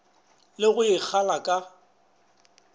le go e kgala ka